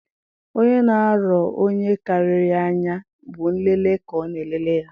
Onye na-arọ onye karịrị ya anya, bụ nlele ka ọ na-elele ya